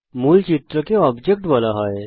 মূল চিত্রকে অবজেক্ট বলা হয়